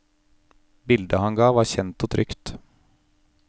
Bildet han ga var kjent og trygt.